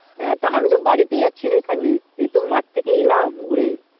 হ্যাঁ তা আমি তো বাড়িতে আছি রে খানিক এই তো মাঠ থেকে এলাম ঘুরে